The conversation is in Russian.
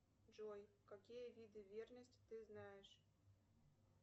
джой какие виды верности ты знаешь